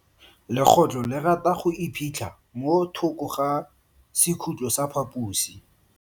Legotlo le rata go iphitlha mo thoko ga sekhutlo sa phaposi.